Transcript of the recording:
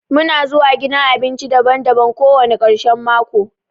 Muna zuwa gidan abinci daban-daban kowani karshen mako.